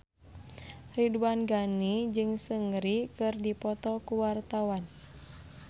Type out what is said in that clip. Ridwan Ghani jeung Seungri keur dipoto ku wartawan